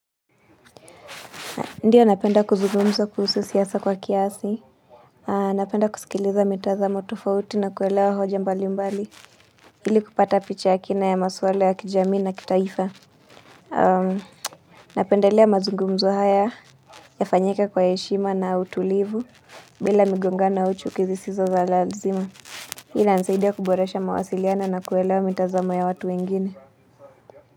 Ndio napenda kuzugumza kuhusu siasa kwa kiasi. Napenda kusikiliza mitazamo tufauti na kuwelewa hoja mbali mbali. Hili kupata picha ya kina ya maswale ya kijamii na kitaifa. Napendelea mazugumzo haya yafanyike kwa heshima na utulivu bila migongano au chuki zisizo za lazima. Hii inisaidia kuboresha mawasiliano na kuelewa mitazamo ya watu wengine.